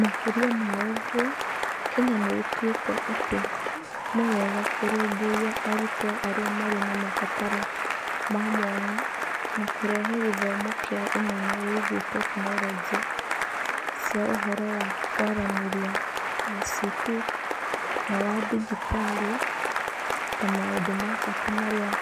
Makĩria ma ũguo, Kenya nĩ ĩtuĩte atĩ nĩ wega kũrũmbũiya arutwo arĩa marĩ na mabataro ma mwanya na kũrehe gĩthomo kĩa ũmenyo wĩgiĩ tekinoronjĩ cia ũhoro wa kũaranĩrĩa (ICT) na wa digitali ta maũndũ ma bata marĩa